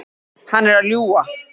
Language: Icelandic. Hann er að ljúga.